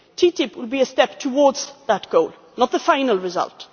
TTIP will be a step towards that goal, not the final result.